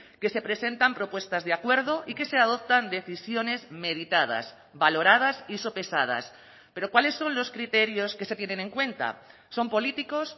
que se presentan propuestas de acuerdo y que se adoptan decisiones meditadas valoradas y sopesadas pero cuáles son los criterios que se tienen en cuenta son políticos